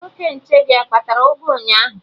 Nwoke nche gị akpara ụgụ ụnyaahụ?